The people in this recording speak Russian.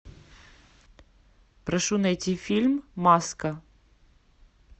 прошу найти фильм маска